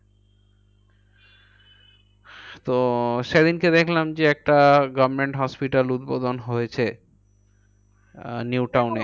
তো সেদিনকে দেখলাম যে একটা government hospital উদ্বোধন হয়েছে। আহ নিউটাউন এ।